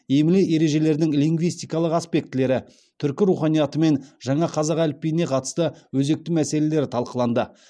емле ережелердің лингвистикалық аспектілері түркі руханиятымен жаңа қазақ әліпбиіне қатысты өзекті мәселелері талқыланды